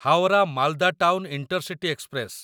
Howrah Malda town intercity express